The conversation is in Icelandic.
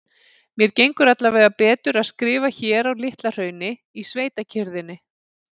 Mér gengur allavega betur að skrifa hér á Litla-Hrauni, í sveitakyrrðinni.